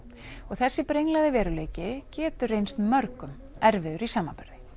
þessi brenglaði veruleiki getur reynt mörgum erfiður í samanburði